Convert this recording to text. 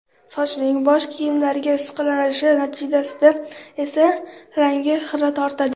Sochning bosh kiyimlarga ishqalanishi natijasida esa rangi xira tortadi.